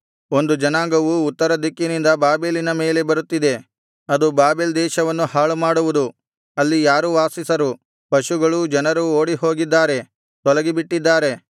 ಒಂದು ಜನಾಂಗವು ಉತ್ತರ ದಿಕ್ಕಿನಿಂದ ಬಾಬೆಲಿನ ಮೇಲೆ ಬರುತ್ತಿದೆ ಅದು ಬಾಬೆಲ್ ದೇಶವನ್ನು ಹಾಳುಮಾಡುವುದು ಅಲ್ಲಿ ಯಾರೂ ವಾಸಿಸರು ಪಶುಗಳೂ ಜನರೂ ಓಡಿಹೋಗಿದ್ದಾರೆ ತೊಲಗಿಬಿಟ್ಟಿದ್ದಾರೆ